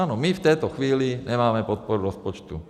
Ano, my v této chvíli nemáme podporu rozpočtu.